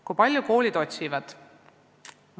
Kui palju koolid ise spetsialiste otsivad?